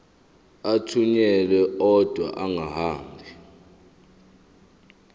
athunyelwa odwa angahambi